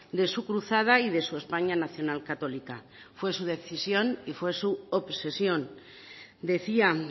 de su cruzada y de su españa nacional católica fue su decisión y fue su obsesión decía